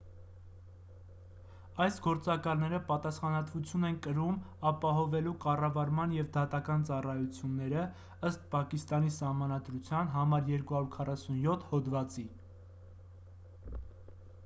այս գործակալները պատասխանատվություն են կրում ապահովելու կառավարական և դատական ծառայություններ ըստ պակիստանի սահմանադրության n247 հոդվածի